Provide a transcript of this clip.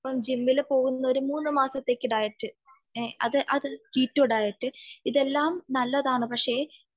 ഇപ്പോൾ ജിമ്മിൽ പോകുന്നവർ ഒരു മൂന്നു മാസത്തെ ഡയറ്റ് കിറ്റോ ഡയറ്റ് ഇതെല്ലാം നല്ലതാണു പക്ഷെ .